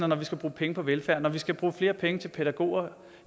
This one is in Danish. når vi skal bruge penge på velfærd når vi skal bruge flere penge til pædagoger